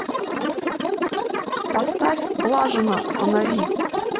поставь блажина фонари